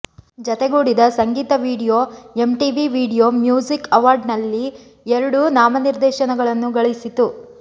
ಜತೆಗೂಡಿದ ಸಂಗೀತ video MTV video music ಅವಾರ್ಡ್ಸ್ನಲ್ಲಿ ಎರಡು ನಾಮನಿರ್ದೇಶನಗಳನ್ನು ಗಳಿಸಿತು